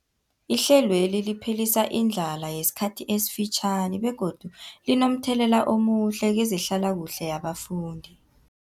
Ihlelweli liphelisa indlala yesikhathi esifitjhani begodu linomthelela omuhle kezehlalakuhle yabafundi.